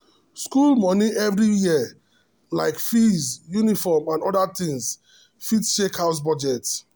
school money every year — like fees uniform and other things — fit shake house budget.